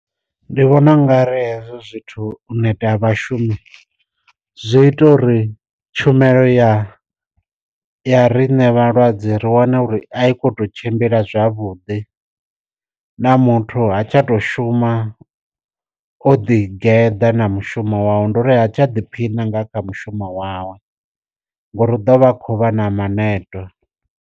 Ndi vhona ungari hezwo zwithu u neta ha vhashumi zwi ita uri tshumelo ya ya riṋe vhalwadze ri wana uri a i khou tou tshimbila zwavhudi, na muthu ha tsha to shuma o ḓi geḓa na mushumo wawe ndi uri ha tsha ḓiphina nga kha mushumo wawe ngori ḓo vha khou vha na maneto.